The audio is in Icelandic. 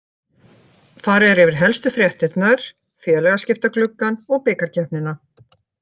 Farið er yfir helstu fréttirnar, félagaskiptagluggann og bikarkeppnina.